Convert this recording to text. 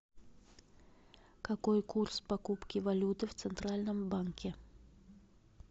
какой курс покупки валюты в центральном банке